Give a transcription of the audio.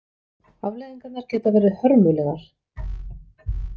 Afleiðingarnar geta verið hörmulegar.